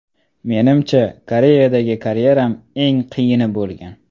Menimcha, Koreyadagi karyeram eng qiyini bo‘lgan.